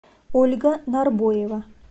ольга нарбоева